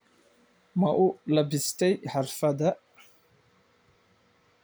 Ma u lebbistay xafladda?